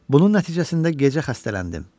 Bunun nəticəsində gecə xəstələndim.